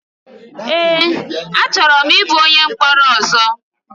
Èé! Achọrọ m ịbụ onye mkpọrọ ọzọ.